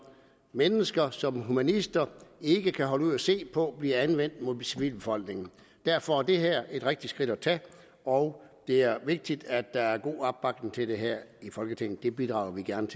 mennesker som humanister ikke kan holde ud at se på bliver anvendt mod civilbefolkningen derfor er det her et rigtigt skridt at tage og det er vigtigt at der er god opbakning til det her i folketinget det bidrager vi gerne